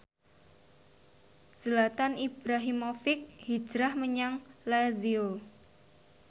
Zlatan Ibrahimovic hijrah menyang Lazio